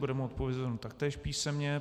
Bude mu odpovězeno taktéž písemně.